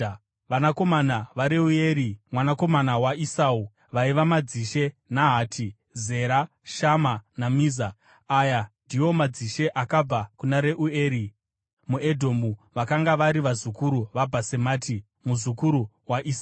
Vanakomana vaReueri, mwanakomana waEsau, vaiva madzishe Nahati, Zera, Shama naMiza. Aya ndiwo madzishe akabva kuna Reueri muEdhomu; vakanga vari vazukuru vaBhasemati, mukadzi waEsau.